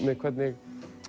hvernig